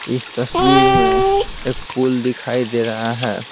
इस तस्वीर में एक पुल दिखाई दे रहा है।